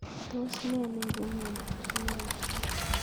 Tos ne neiparu miondop TARP